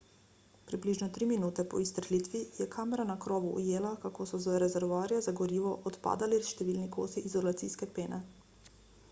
približno tri minute po izstrelitvi je kamera na krovu ujela kako so z rezervoarja za gorivo odpadali številni kosi izolacijske pene